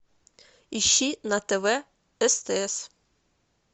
ищи на тв стс